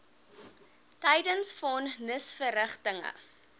tydens von nisverrigtinge